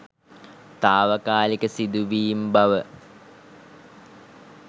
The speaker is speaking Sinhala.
තාවකාලික සිදුවීම් බව